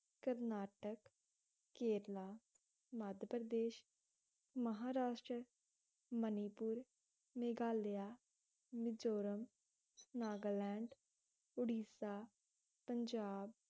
Karnataka, Kerala, Madhya Pradesh, Maharashtra, Manipur, Meghalaya, Mizoram, Nagaland, Orissa, Punjab